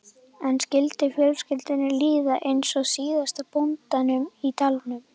En skyldi fjölskyldunni líða eins og síðasta bóndanum í dalnum?